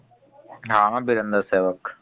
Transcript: ହଁ ହଁ ବିରେନ୍ଦ୍ର ସେବକ୍ ।